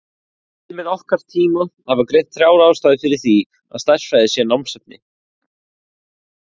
Fræðimenn okkar tíma hafa greint þrjár ástæður fyrir því að stærðfræði sé námsefni.